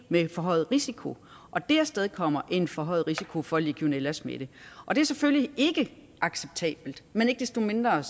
med forhøjet risiko og det afstedkommer en forhøjet risiko for legionellasmitte og det er selvfølgelig ikke acceptabelt men ikke desto mindre er